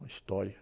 Uma história.